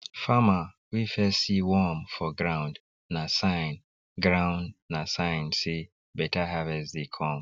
farmer wey first see worm for ground na sign ground na sign say better harvest dey come